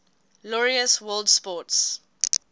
laureus world sports